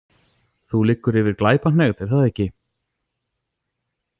Þú liggur yfir Glæpahneigð, er það ekki?